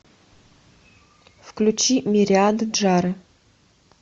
включи мириады джары